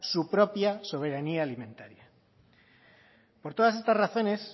su propia soberanía alimentaria por todas estas razones